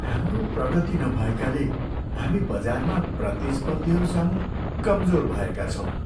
हाम्रो प्रगति नभएकाले हामी बजारमा प्रतिस्पर्धीहरूसामु कमजोर भएका छौँ।